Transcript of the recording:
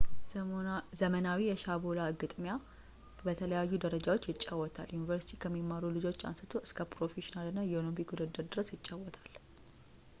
ዘመናዊ የሻቦላ ግጥሚያ በተለያዩ ደረጃዎች ይጫወታል ዩኒቨርሲቲ ከሚማሩ ልጆች አንስቶ እስከ ፕሮፌሽናል እና የኦሎምፒክ ውድድር ድረስ ይጫወታል